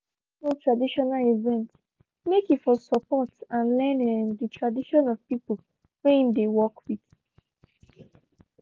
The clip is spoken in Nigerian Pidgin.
him go traditional event make he for support and learn um the tradition of people whey him dey work with